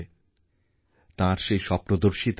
কারণ আমরাই এখন বিনিয়োগ আর নতুন উদ্ভাবনার কেন্দ্র হয়ে উঠছি